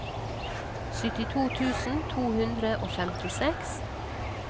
syttito tusen to hundre og femtiseks